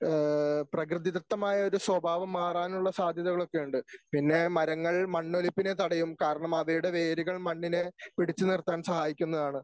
ഏഹ് പ്രകൃതിദത്തമായ ഒരു സ്വഭാവം മാറാനുള്ള സാധ്യതകളൊക്കെയുണ്ട്. പിന്നെ മരങ്ങൾ മണ്ണൊലിപ്പിനെ തടയും കാരണം അവയുടെ വേരുകൾ മണ്ണിനെ പിടിച്ചുനിർത്താൻ സഹായിക്കുന്നതാണ്.